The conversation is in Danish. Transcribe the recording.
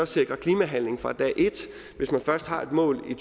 sikre klimahandling fra dag et hvis man først har et mål i